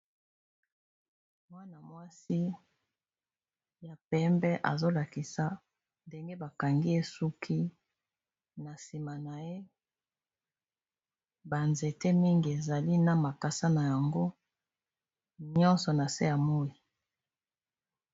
Mwana-mwasi ya pembe azolakisa ndenge bakangi esuki na nsima na ye, banzete mingi ezali na makasa na yango nyonso na se ya moi.